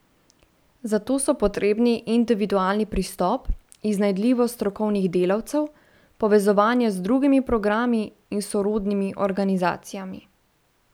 Za to so potrebni individualni pristop, iznajdljivost strokovnih delavcev, povezovanje z drugimi programi in sorodnimi organizacijami.